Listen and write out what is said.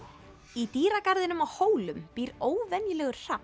í dýragarðinum á Hólum býr óvenjulegur